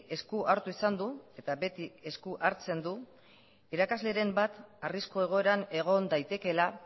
esku hartu izan du eta beti esku hartzen du irakasleren bat arrisku egoeran egon daitekeela